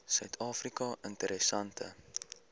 suid afrika interessante